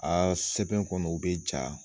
A sɛbɛn kɔni o bɛ ja.